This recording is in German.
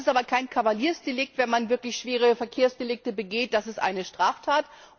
Es ist aber kein Kavaliersdelikt, wenn man wirklich schwere Verkehrsdelikte begeht das ist eine Straftat!